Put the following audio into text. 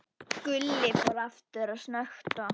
Gulli fór aftur að snökta.